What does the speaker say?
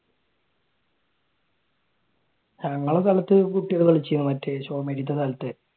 ഞങ്ങളുടെ സ്ഥലത്തു കുട്ടികൾ കളിച്ചീന്